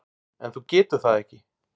En þú getur það ekki.